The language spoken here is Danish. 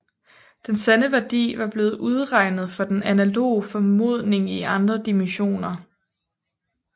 Den sande værdi var blevet udregnet for den analoge formodning i andre dimensioner